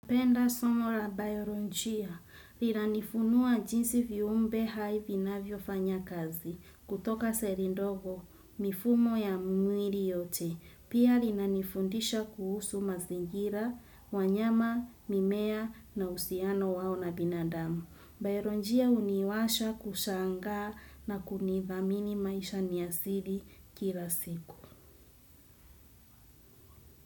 Penda somo la bayolonjia. Inanifunua jinsi viumbe hai vinavyo fanya kazi kutoka selindogo mifumo ya mwili yote. Pia linanifundisha kuhusu mazingira, wanyama, mimea na uhusiano wao na binadamu. Bayoronjia uniwasha kushanga na kunithamini maisha niyasiri kila siku.